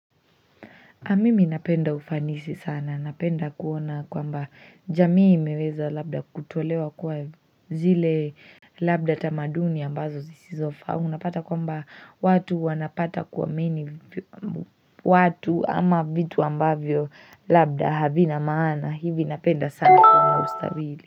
Mimi napenda ufanisi sana, napenda kuona kwamba jamii imeweza labda kutolewa kwa zile labda tamaduni ambazo zisizofaa. Au unapata kwamba watu wanapata kuamini watu ama vitu ambavyo labda havina maana. Hivi napenda sana kuwa na ustabili.